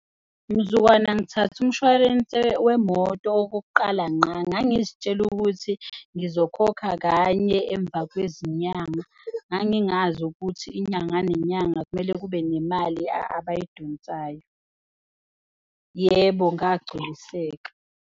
Mzukwana ngithathe umshwarense wemoto okokuqala nqa ngangizitshela ukuthi ngizokhokha kanye emva kwezinyanga, ngangingazi ukuthi inyanga nenyanga kumele kube nemali abayidonsayo. Yebo, ngagculiseka.